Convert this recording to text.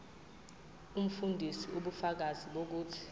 umfundisi ubufakazi bokuthi